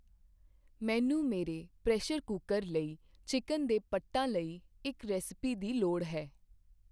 ਮੈਨੂੰ ਮੇਰੇ pressure cooker ਲਈ ਚਿੱਕਨ ਦੇ ਪੱਟਾਂ ਲਈ ਇੱਕ ਰੈਸਿਪੀ ਦੀ ਲੋੜ ਹੈ।